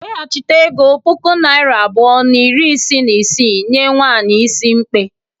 Weghachite ego puku naira abụọ na iri isii na isii nye nwanyị is mkpe.